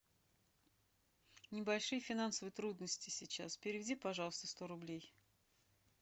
небольшие финансовые трудности сейчас переведи пожалуйста сто рублей